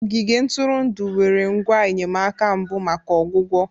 Ogige ntụrụndụ nwere ngwa enyemaka mbụ maka ọgwụgwọ